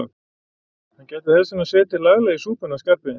Hann gæti þess vegna setið laglega í súpunni hann Skarphéðinn.